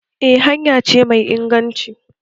Eh hanya ce mai inganci